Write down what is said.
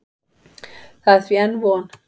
Það er því enn von.